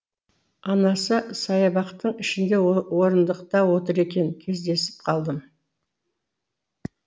анасы саябақтың ішінде орындықта отыр екен кездесіп қалдым